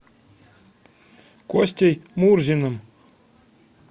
костей мурзиным